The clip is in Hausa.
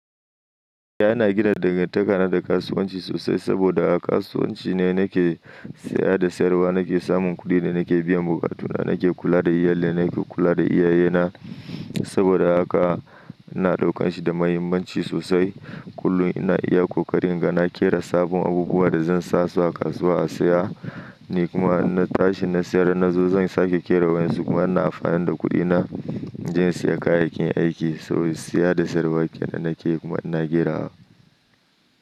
Eh, ina gina dangantakana da kasuwanci sosai saboda a kasuwanci ne nake saya da sayarwa, nake samun kuɗin da nake biyan buƙatuna, nake kula da iyalina, nake kula da iyayena. Saboda haka ina ɗaukan shi da muhimmanci sosai. Kullum ina iya ƙoƙarin inga na ƙera sabon abubuwan da zan sa su a kasuwa a saya, ni kuma in na tashi na sayar. Na zo zan sake ƙera wa yanzu kuma ina amfani da kuɗina in je in saya kayayyakin aiki saboda saya da sayarwa ke nan nake yi kuma ina ƙerawa.